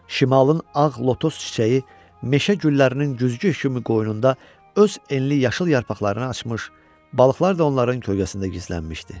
Şimalın ağ lotos çiçəyi meşə güllərinin güzgüsü kimi qoynunda öz enli yaşıl yarpaqlarını açmış, balıqlar da onların kölgəsində gizlənmişdi.